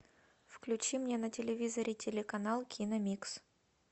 включи мне на телевизоре телеканал киномикс